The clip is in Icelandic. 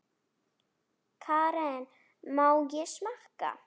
Karen: Má ég smakka?